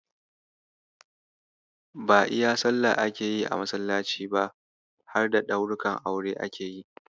Ba iya Sallah ake yi a masallaci ba, harda ɗaurukan aure ake yi.